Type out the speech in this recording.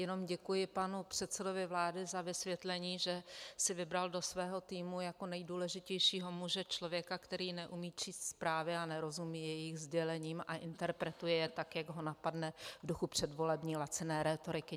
Jenom děkuji panu předsedovi vlády za vysvětlení, že si vybral do svého týmu jako nejdůležitějšího muže člověka, který neumí číst zprávy a nerozumí jejich sdělením a interpretuje je tak, jak ho napadne v duchu předvolební laciné rétoriky.